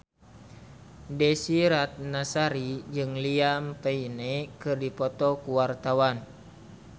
Desy Ratnasari jeung Liam Payne keur dipoto ku wartawan